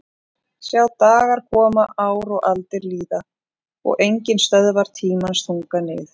Sjá dagar koma ár og aldir líða og enginn stöðvar tímans þunga nið